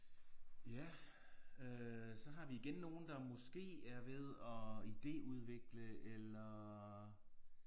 Ja øh så har vi igen nogle der måske er ved at ideudvikle eller